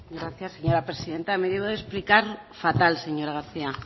gracias señora presidenta me he debido de explicar fatal señora garcía